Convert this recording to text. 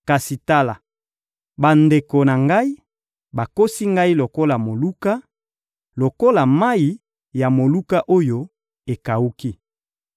Kasi tala, bandeko na ngai bakosi ngai lokola moluka, lokola mayi ya moluka oyo ekawuki.